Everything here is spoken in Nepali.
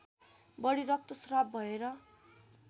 बढी रक्तस्राव भएर